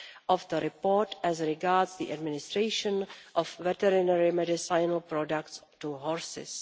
of the report as regards the administration of veterinary medicinal products to horses.